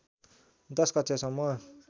१० कक्षासम्म